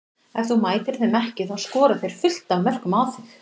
Ef þú mætir þeim ekki þá skora þeir fullt af mörkum á þig.